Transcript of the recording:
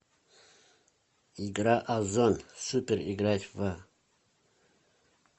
игра озон супер играть в